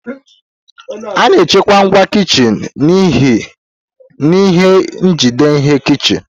A na-echekwa ngwa kichin n'ihe njide ihe kichin.